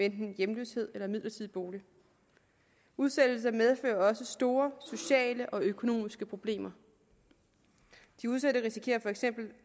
enten hjemløshed eller midlertidig bolig udsættelser medfører også store sociale og økonomiske problemer de udsatte risikerer for eksempel